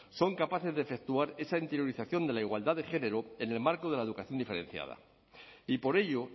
son capaces de efectuar esa interiorización de la igualdad de género en el marco de la educación diferenciada y por ello